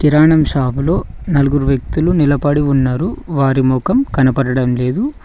గ్రహణం షాపు లో నలుగురు వ్యక్తులు నిలబడి ఉన్నారు వారి ముఖం కనబడడం లేదు.